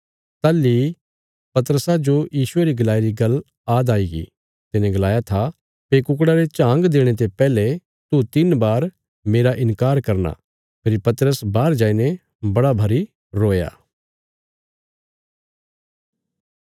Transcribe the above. ताहली इ पतरसा जो यीशुये री गलाई री गल्ल आद आईगी तिने गलाया था भई कुकड़ा रे झांग देणे ते पैहले तू तिन्न बार मेरा इन्कार करना फेरी पतरस बाहर जाईने बड़ा भरी रोया